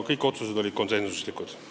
Kõik otsused olid konsensuslikud.